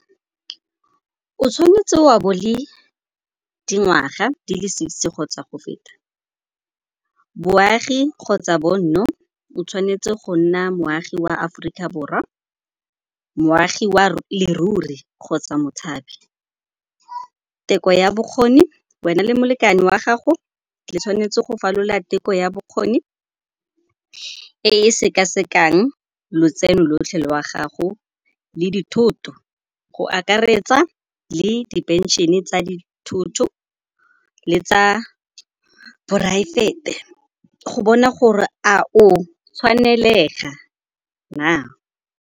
O tshwanetse wa bo le dingwaga di le sixty kgotsa go feta. Boagi kgotsa bonno o tshwanetse go nna moagi wa Aforika Borwa, moagi ya leruri kgotsa motshabi. Teko ya bokgoni wena le molekane wa gago le tshwanetse go falola teko ya bokgoni, e e sekasekang lotseno lotlhe lwa gago le dithoto, go akaretsa le di phenšene tsa dithuto le tsa poraefete go bona gore a o tshwanelega na.